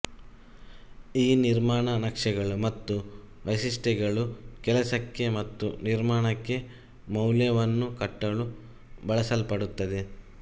ಈ ನಿರ್ಮಾಣ ನಕ್ಷೆಗಳು ಮತ್ತು ವೈಶಿಷ್ಟ್ಯತೆಗಳು ಕೆಲಸಕ್ಕೆ ಮತ್ತು ನಿರ್ಮಾಣಕ್ಕೆ ಮೌಲ್ಯವನ್ನು ಕಟ್ಟಲು ಬಳಸಲ್ಪಡುತ್ತದೆ